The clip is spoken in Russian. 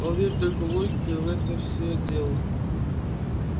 он верит только в логику и в этом всё дело